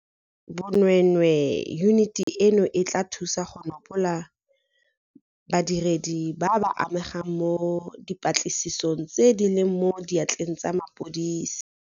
Bo nweenwee, yuniti eno e tla thusa go nopola badiredi ba ba amegang mo dipatlisisong tse di leng mo diatleng tsa mapodisi.